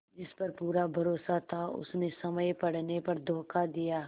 जिस पर पूरा भरोसा था उसने समय पड़ने पर धोखा दिया